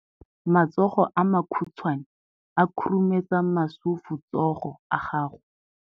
Matsogo a makhutshwane a khurumetsa masufutsogo a gago.